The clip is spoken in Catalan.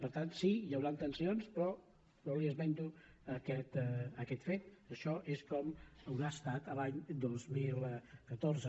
per tant sí hi hauran tensions però jo li esmento aquest fet això és com haurà estat l’any dos mil catorze